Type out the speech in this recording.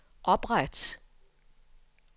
opret